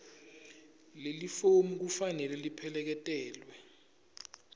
lelifomu kufanele lipheleketelwe